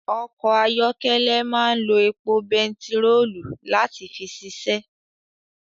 Ọkọ̀ ayọ́kẹ́lẹ́ máa ń lo epo bentiroolu láti fi ṣiṣẹ́